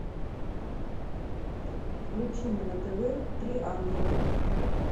включи мне на тв три ангела